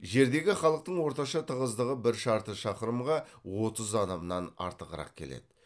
жердегі халықтың орташа тығыздығы бір шарты шақырымға отыз адамнан артығырақ келеді